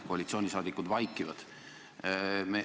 Koalitsioonisaadikud vaikivad.